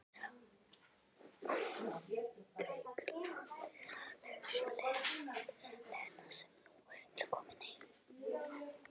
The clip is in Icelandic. Óútreiknanleg sú Lena sem nú er komin heim.